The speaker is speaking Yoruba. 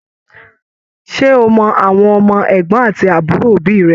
Ṣe o mọ àwọn ọmọ ẹgbọn àti àbúrò òbí rẹ?